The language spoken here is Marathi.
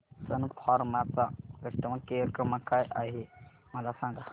सन फार्मा चा कस्टमर केअर क्रमांक काय आहे मला सांगा